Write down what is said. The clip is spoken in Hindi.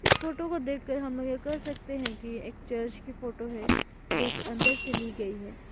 इस फोटो को देख के हम यह सकते हैं कि यह एक चर्च की फोटो है जो की अंदर से ली गई है।